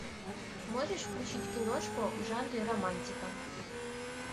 можешь включить киношку в жанре романтика